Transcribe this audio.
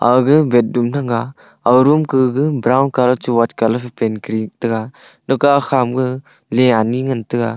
aga beddom thang ga aga room gaga brown colour che white colour phei pant kori tega leke akha ma ga lia ani ngan tega.